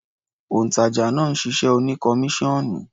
Òǹtàjà náà ṣiṣẹ́ oní kọmíṣọ́ọ̀nù.